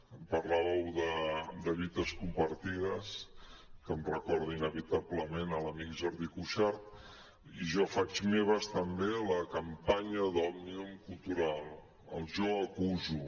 em parlàveu de lluites compartides que em recorden inevitablement l’amic jordi cuixart i jo faig meva també la campanya d’òmnium cultural el jo acuso